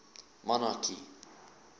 monarchy